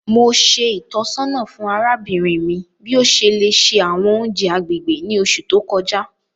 Mo ṣe ìtọ́sọ́nà fún arábìnrin mi bi o ṣe le ṣe àwọn ounjẹ agbègbè ni oṣù to kọjá.